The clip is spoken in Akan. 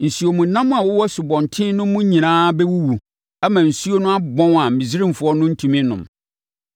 Nsuomnam a wɔwɔ asubɔnten no mu nyinaa bɛwuwu ama nsuo no abɔn a Misraimfoɔ no rentumi nnom.’ ”